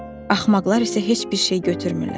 Axmaqlar isə heç bir şey götürmürlər.